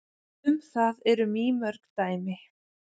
Um það eru mýmörg dæmi.